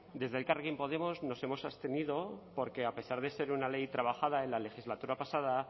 desde elkarrekin podemos nos hemos abstenido porque a pesar de ser una ley trabajada en la legislatura pasada